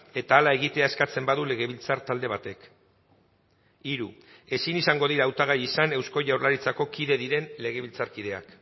eta hala egitea eskatzen badu legebiltzar talde batek hiru ezin izango dira hautagai izan eusko jaurlaritzako kide diren legebiltzarkideak